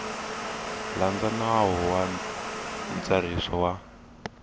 landza nawu wa ntsariso wa